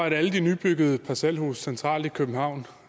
at alle de nybyggede parcelhuse centralt i københavn